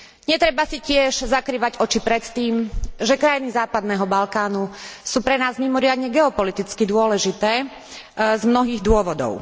Netreba si tiež zakrývať oči pred tým, že krajiny západného Balkánu sú pre nás mimoriadne geopoliticky dôležité z mnohých dôvodov.